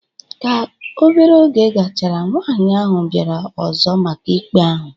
Ka obere oge gachara, nwaanyị ahụ bịara ọzọ maka ikpe ahụ